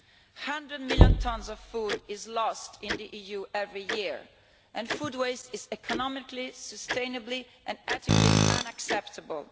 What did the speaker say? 100 million tons of food is lost in the EU every year and food waste is economically, sustainably and ethically unacceptable.